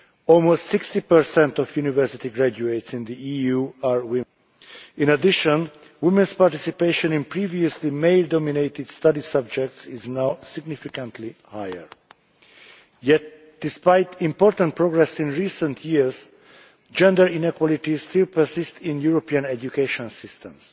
almost 60 of university graduates in the EU are women. In addition, women's participation in previously male dominated study subjects is now significantly higher. Yet despite important progress in recent years gender inequalities still persist in European education systems.